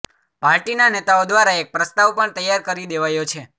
પાર્ટીના નેતાઓ દ્વારા એક પ્રસ્તાવ પણ તૈયાર કરી દેવાયો છે